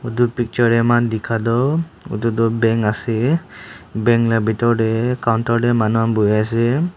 edu picture tae amikan dikhatoh edu tu bank ase bank la bitor tae counter manu han buhiase.